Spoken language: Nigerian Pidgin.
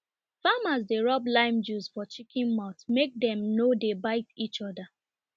farmers dey rub lime juice for chicken mouth make dem no dey bite each other